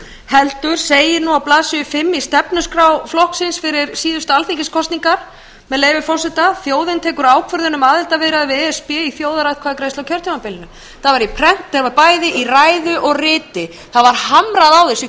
heldur segir á blaðsíðu fimm í stefnuskrá flokksins fyrir síðustu alþingiskosningar með leyfi forseta þjóðin tekur ákvörðun um aðildarviðræður við e s b í þjóðaratkvæðagreiðslu á kjörtímabilinu það var prent í bæði ræðu og riti það var hamrað á þessu í